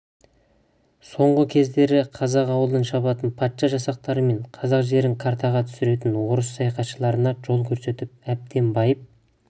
соңғы кездері қазақ ауылын шабатын патша жасақтары мен қазақ жерін картаға түсіретін орыс саяхатшыларына жол көрсетіп әбден байып